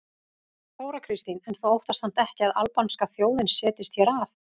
Þóra Kristín: En þú óttast samt ekki að albanska þjóðin setjist hér að?